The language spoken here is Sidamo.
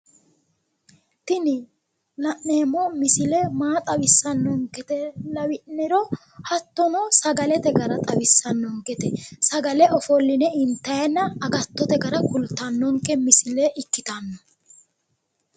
Tini la'neemmo misile maa tawisanonkete lawi'nero hattono sagalete gara xawisanonkete. Sagale ofolline intayinna agattote misile kultanotta ikkittano